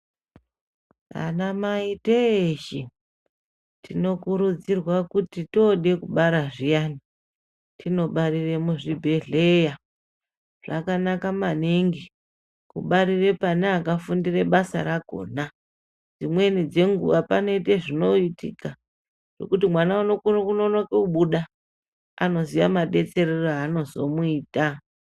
Anamai teshe tinokurudzirwa kuti tode kubara zviyani tinobarire muzvibhedhlera zvakanaka maningi kubarire pane akafundira basa rakona dzimweni dzenguva panoite zvinoitika ingokuti mwana unokone kunonoke kubuda vanoziva madetserere avanozomuita.